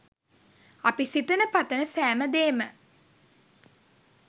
අපි සිතන පතන සෑම දේම